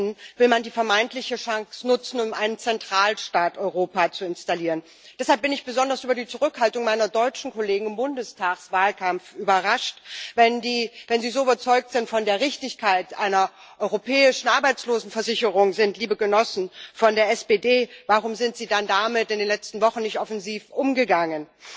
Stattdessen will man die vermeintliche Chance nutzen, um einen Zentralstaat Europa zu installieren. Deshalb bin ich besonders über die Zurückhaltung meiner deutschen Kollegen im Bundestagswahlkampf überrascht. Wenn Sie so sehr von der Richtigkeit einer europäischen Arbeitslosenversicherung überzeugt sind, liebe Genossen von der SPD, warum sind Sie dann damit in den letzten Wochen nicht offensiv umgegangen?